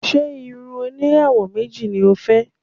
Ṣé irun oníràwọ̀ méjì ni o fẹ́?